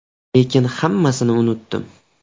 Lekin hammasini unutdim.